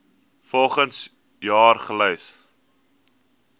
volgens jaar gelys